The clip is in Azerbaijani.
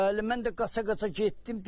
Hə, elə mən də qaça-qaça getdim,